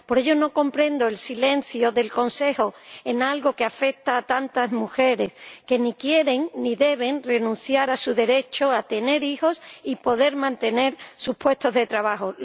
Por ello, no comprendo el silencio del Consejo en algo que afecta a tantas mujeres que ni quieren ni deben renunciar a su derecho a tener hijos y poder mantener sus puestos de trabajo.